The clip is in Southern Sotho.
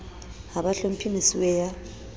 ha ba hlomphe mosuwe ya